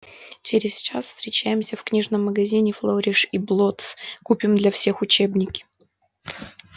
через час встречаемся в книжном магазине флориш и блоттс купим для всех учебники